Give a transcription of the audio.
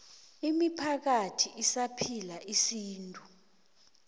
imiphakathi esaphila isintu